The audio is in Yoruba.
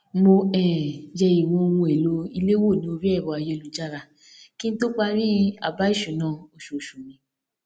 mo um yẹ ìwọn ohun èlò ilé wò ní orí ẹrọ ayélujára kí n tó parí àbáìṣúná oṣooṣù mi